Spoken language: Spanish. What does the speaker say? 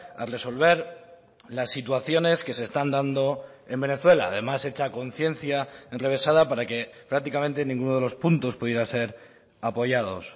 a resolver las situaciones que se están dando en venezuela además hecha a conciencia enrevesada para que prácticamente ninguno de los puntos pudiera ser apoyados